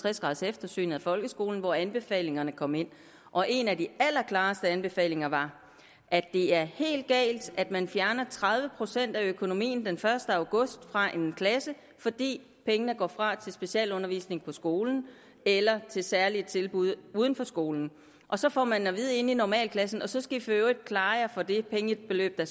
tres graders eftersynet af folkeskolen hvor anbefalingerne kom ind og en af de allerklareste anbefalinger var at det er helt galt at man fjerner tredive procent af økonomien den første august fra en klasse fordi pengene går fra til specialundervisning på skolen eller til særlige tilbud uden for skolen og så får man at vide i normalklassen så skal i for øvrigt klare jer for det pengebeløb der